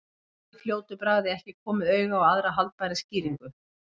Gat í fljótu bragði ekki komið auga á aðra haldbæra skýringu.